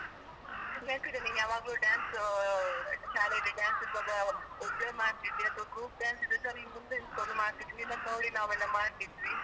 ನೆನ್ಪಿದ್ಯಾನಿಂಗ್ ಯಾವಾಗ್ಲೂ dance ಶಾಲೇಲಿ dance ಇರ್ವಾಗ ಒಬ್ಳೆಮಾಡ್ತಿದ್ದೆ ಅಥ್ವಾ group dance ಇದ್ರೇಸ ನಿನ್ ಮುಂದೆ ನಿಂತ್ಕೊಂಡು ಮಾಡ್ತಿದ್ದೆ ನಿನ್ನನ್ ನೋಡ್ಕೊಂಡ್ ನಾವೆಲ್ಲ ಮಾಡ್ತಿದ್ದ್ವಿ.